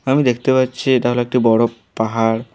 আমি দেখতে পাচ্ছি এটা হল একটি বড়ো পাহাড়।